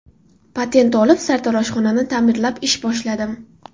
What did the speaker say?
Patent olib, sartaroshxonani ta’mirlab ish boshladim.